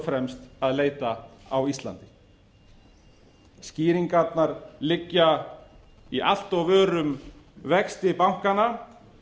fremst að leita á íslandi skýringarnar liggja í allt of örum vexti bankanna